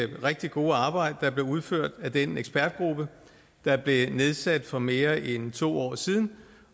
rigtig gode arbejde der blev udført af den ekspertgruppe der blev nedsat for mere end to år siden